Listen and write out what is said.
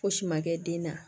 Fosi ma kɛ den na